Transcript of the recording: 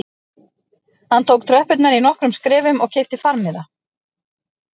Hann tók tröppurnar í nokkrum skrefum og keypti farmiða